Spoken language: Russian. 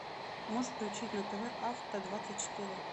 можешь включить на тв авто двадцать четыре